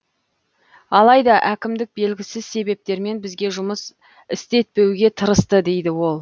алайда әкімдік белгісіз себептермен бізге жұмыс істетпеуге тырысты дейді ол